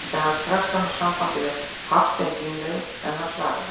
Reyndi hann strax að ná sambandi við Hafstein símleiðis, en hann svaraði ekki.